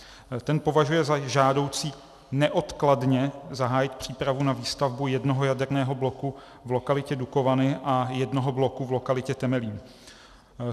Ten považuje za žádoucí neodkladně zahájit přípravu na výstavbu jednoho jaderného bloku v lokalitě Dukovany a jednoho bloku v lokalitě Temelín.